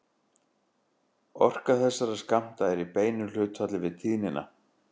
Orka þessara skammta er í beinu hlutfalli við tíðnina.